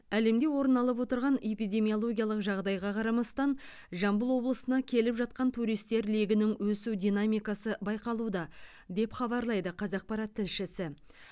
әлемде орын алып отырған эпидемиологиялық жағдайға қарамастан жамбыл облысына келіп жатқан туристер легінің өсу динамикасы байқалуда деп хабарлайды қазақпарат тілшісі